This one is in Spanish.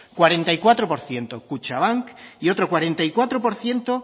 cuarenta y cuatro por ciento kutxabank y otro cuarenta y cuatro por ciento